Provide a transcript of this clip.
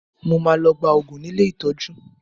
Mo máa lọ gba òògùn ní ilé ìtọ́jú